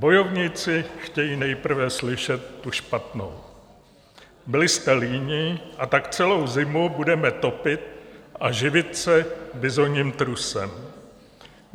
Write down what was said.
Bojovníci chtějí nejprve slyšet tu špatnou: Byli jste líní, a tak celou zimu budeme topit a živit se bizonním trusem.